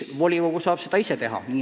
Volikogu saab seda ka ise teha.